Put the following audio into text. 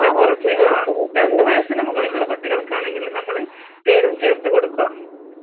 കുറച്ച് ആ, രണ്ട് വയസ്സിന് മുകളിലുള്ള കുട്ടികൾക്കാണെങ്കില് നമ്മള് തേനും ചേർത്ത് കൊടുക്കുക